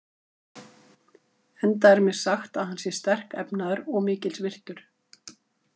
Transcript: Enda er mér sagt að hann sé sterkefnaður og mikils virtur.